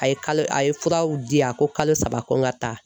A ye kalo a ye furaw di a ko kalo saba ko n ka taa